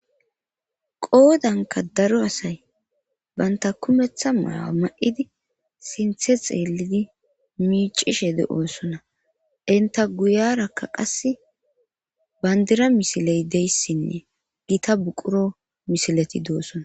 qoodanka daro asay banta kumeththa maya ma7idi sinthe xeellidi miicishe deosona inta guyarakka qass bandira misiley deyssinne gita buquro misileti doossona